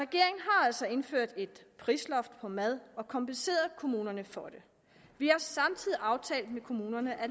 altså indført et prisloft for mad og kompenseret kommunerne for det vi har samtidig aftalt med kommunerne at